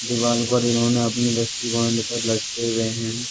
दीवार पर इन्होंने अपनी रस्सी बांधकर लटके हुए हैं।